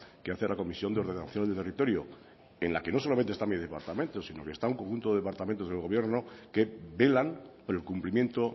que hace la comisión de ordenación del territorio en la que no solamente está mi departamento sino está un conjunto de departamentos del gobierno que velan por el cumplimiento